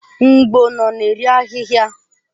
Mgbo nọ na-eri ahịhịa.